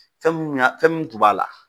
Fɛmun ɲa fɛmun tun b'a la.